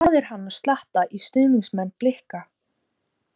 Hvað er hann að sletta í stuðningsmenn BLIKA?